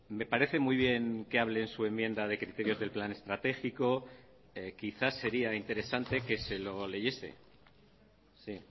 me parece muy bien que hable en su enmienda de criterios del plan estratégico quizás sería interesante que se lo leyese sí